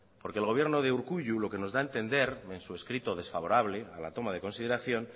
porque el gobierno de urkullu lo que nos da a entender en su escrito desfavorable a la toma en consideración